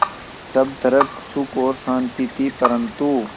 सब तरफ़ सुख और शांति थी परन्तु